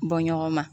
Bɔ ɲɔgɔn ma